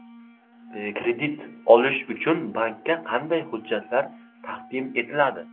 Kredit olish uchun bankka qanday hujjatlar taqdim etiladi?